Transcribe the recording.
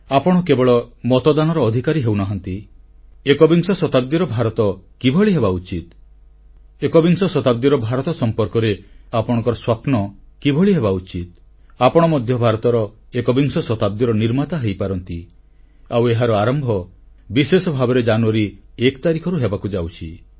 ଆପଣ କେବଳ ମତଦାନର ଅଧିକାରୀ ହେଉନାହାନ୍ତି ଏକବିଂଶ ଶତାବ୍ଦୀର ଭାରତ କିଭଳି ହେବା ଉଚିତ୍ ଏକବିଂଶ ଶତାବ୍ଦୀର ଭାରତ ସମ୍ପର୍କରେ ଆପଣଙ୍କ ସ୍ୱପ୍ନ କିଭଳି ହେବା ଉଚିତ୍ ଆପଣ ମଧ୍ୟ ଭାରତର ଏକବିଂଶ ଶତାବ୍ଦୀର ନିର୍ମାତା ହେଇପାରନ୍ତି ଆଉ ଏହାର ଆରମ୍ଭ ବିଶେଷ ଭାବରେ ଜାନୁଆରୀ 1 ତାରିଖରୁ ହେବାକୁ ଯାଉଛି